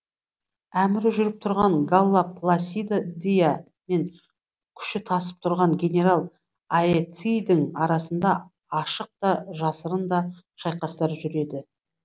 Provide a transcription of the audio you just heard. әмірі жүріп тұрған галла пласидадиа мен күші тасып тұрған генерал аэцийдің арасында ашық та жасырын да шайқастар жүреді